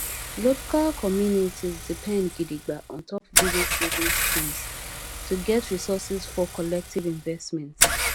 local communities depend gidigba ontop village savings schemes to get resources for collective investments